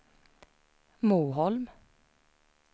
Moholm